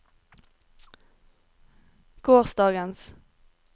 gårsdagens